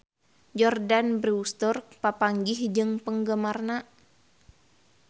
Jordana Brewster papanggih jeung penggemarna